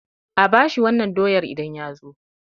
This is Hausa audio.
A bashi wannan doyar idan ya zo